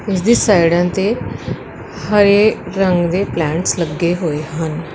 ਇਸ ਦੀ ਸਾਈਡਾਂ ਤੇ ਹਰੇ ਰੰਗ ਦੇ ਪਲੈਨਸ ਲੱਗੇ ਹੋਏ ਹਨ।